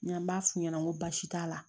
Nga n b'a f'u ɲɛna n ko baasi t'a la